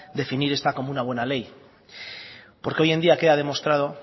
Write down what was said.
definir esta como una buena ley porque hoy en día queda demostrado